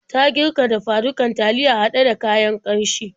Ta girka dafa-dukan taliya haɗe da kayan ƙanshi.